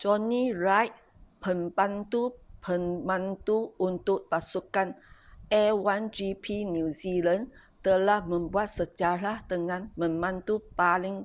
jonny reid pembantu pemandu untuk pasukan a1gp new zealand telah membuat sejarah dengan memandu paling